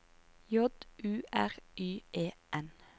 J U R Y E N